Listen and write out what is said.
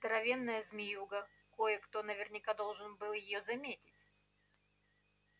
здоровенная змеюга кое-то наверняка должен был его заметить